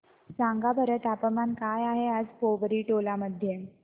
सांगा बरं तापमान काय आहे आज पोवरी टोला मध्ये